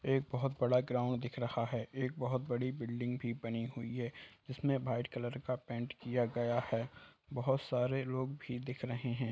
एक बहोत बड़ा ग्राउंड दिख रहा है एक बहोत बड़ी बिल्डिंग भी बनी हुई है इसमें भाइट कलर का पेंट किया गया है बहोत सारे लोग भी दिख रहे हैं।